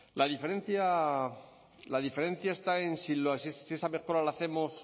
la diferencia está en si esa mejora la hacemos